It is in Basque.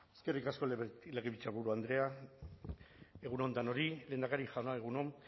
eskerrik asko legebiltzarburu andrea egun on danori lehendakari jauna egun on